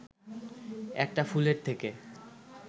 একটা ফুলের থেকে